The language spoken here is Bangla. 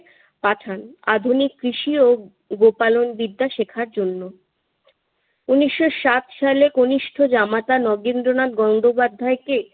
পাঠান আধুনিক কৃষি ও গোপালনবিদ্যা শেখার জন্য। উনিশশো সাত সালে কনিষ্ঠ জামাতা নগেন্দ্রনাথ গঙ্গোপাধ্যায়কে